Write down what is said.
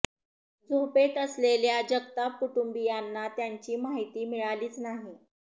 झोपेत असलेल्या जगताप कुटुंबीयांना त्याची माहिती मिळालीच नाही